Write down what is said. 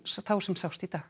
sást í dag